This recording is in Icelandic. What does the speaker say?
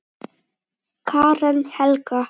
Karen Helga.